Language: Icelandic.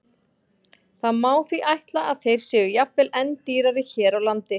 Það má því ætla að þeir séu jafnvel enn dýrari hér á landi.